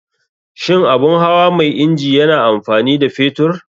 Shin abun hawa mai inji yana amfani da fetur?